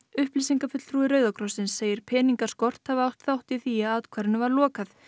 upplýsingafulltrúi Rauða krossins segir peningaskort hafa átt þátt í því að athvarfinu var lokað